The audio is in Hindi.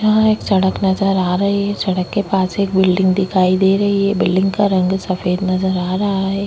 यहाँ एक सड़क नजर आ रही है सड़क के पास एक बिल्डिंग दिखाई दे रही है बिल्डिंग का रंग सफेद नजर आ रहा है।